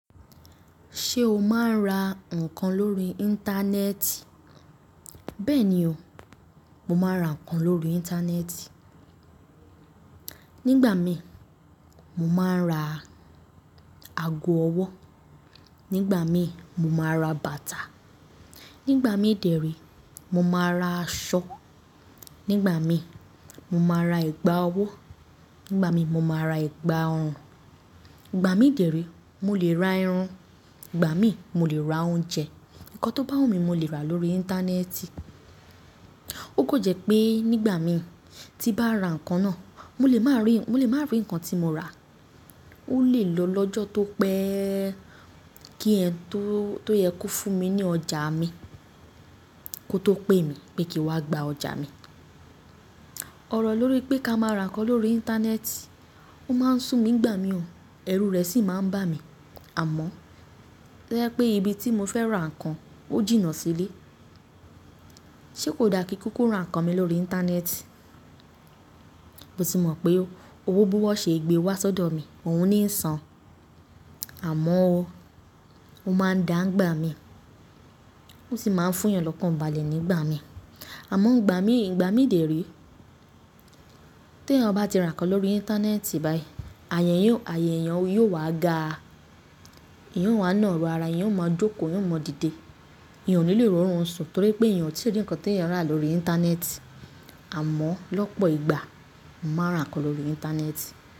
Ṣé o máa ń ra nǹkan lórí Íńtánẹ́ẹ̀tì? Bẹ́ẹ̀ni o, mo máa ń ra nǹkan lórí Íńtánẹ́ẹ̀tì. Nígbà mi mo máa ń ra ago ọwọ́, nígbà mi mo máa ra bàtà, nígbà mí dèrí mo máa ra aṣọ, nígbà mi mo máa ra ẹ̀gbà ọwọ́, nígbà mí mo máa ra ẹ̀gbà ọrùn, ìgbà mí dèrí mo lè ra ẹran, ìgbà mí mo lè ra oúnjẹ. Ǹkan tó bá wù mí mo lè rà á lórí Íńtánẹ́ẹ̀tì. Ó kò jẹ́ pé nígbà mi tí bá ra nǹkan náà mo lè má rí, mo lè má rí nǹkan tí mo rà. Ó lè lọ lọ́jọ́ tó pẹ́ kí ẹni tó, tó yẹ kó fún mi ní ọjà mi kó tó pé mi pé kí wá gba ọjà mi. Ọ̀rọ̀ lórí pé ká máa ra ǹkan lórí Íńtánẹ́ẹ̀tì ó máa ń sùn mí ń gbà mí o, ẹrù rẹ̀ sì máa ń bà mí. Àmọ́ tó yẹ́ pè ibi tí mo fẹ́ ra ǹkan ó jìnnà sílé. Kò dà kí ń kúkú ra ǹkan mi lórí Íńtánẹ́ẹ̀tì? Mo sì mọ̀ pé owó bí wón ó ṣe gbé wá sọ́dọ̀ mi, òun ní ń san. Àmọ́ o, ó máa ń dá ń gbà mí. Ó sì máa ń fún ìyàn lọ́kàn balẹ̀ nígbà mi. Àmọ́ ìgbà mí, ìgbà mí dè re tè ẹ̀yàn ba ti ra ǹkan lórí Íńtánẹ́ẹ̀tì báyìí, àyà èyàn yó, àyà èyàn yóò wá ga. Èèyàn ó wá nà rọ́ ara, èyàn ó máa jókòó, èyàn ó mọ dìde. Èèyàn ò ní lè rí orún ń sùn torí pé èyàn ò tí rí ǹkan tí èyàn ra lórí Íńtánẹ́ẹ̀tì. Àmọ́ lọ́pọ̀ ìgbà m màá ń ra ǹkan lórí Íńtánẹ́ẹ̀tì.